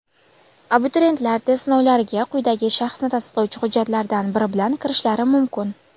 Abituriyentlar test sinovlariga quyidagi shaxsni tasdiqlovchi hujjatlardan biri bilan kirishlari mumkin:.